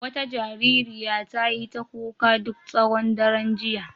Wata jaririya ta yi ta kuka duk tsawon daren jiya.